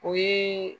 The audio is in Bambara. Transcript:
O ye